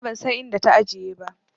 Nima ban san inda ta ajiye ba.